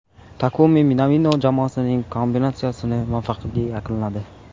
Takumi Minamino jamoasining kombinatsiyasini muvaffaqiyatli yakunladi.